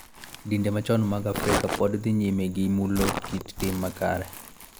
Dinde machon mag Afrika pod dhi nyime gi mulo kit tim makare .